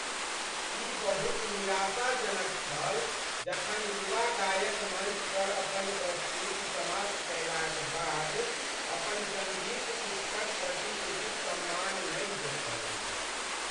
ई बहुत निराशा जनक छल जखन युवा गायक मञ्च पर अपन प्रस्तुति समाप्त कयलाक बाद अपन सङ्गीत शिक्षकक प्रति उचित सम्मान नहि देख़ौलनि।